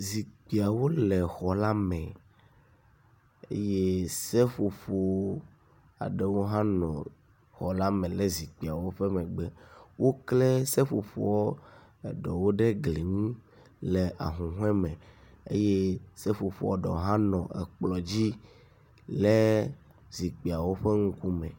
Zikpuiawo le xɔ la me eye seƒoƒo aɖewo hã nɔ xɔ la me le zikpuiawo ƒe megbe. Wokle seƒoƒo aɖewo ɖe gli ŋu le ahuhoe me eye seƒoƒoa ɖewo hã nɔ kplɔ dzi le zikpuiawo ƒe ŋkume.